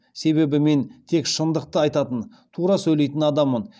себебі мен тек шындықты айтатын тура сөйлейтін адаммын